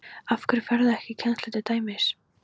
Af hverju ferðu ekki í kennslu til dæmis?